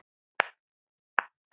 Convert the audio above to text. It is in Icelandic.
Byggja nýtt- eða hætta?